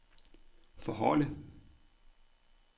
forholde